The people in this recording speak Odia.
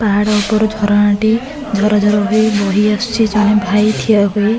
ପାହାଡ ଉପରୁ ଝରଣା ଟି ଝର ଝର ହୋଇ ବୋହି ଆସୁଚି ଜଣେ ଭାଇ ଠିଆ ହୋଇ --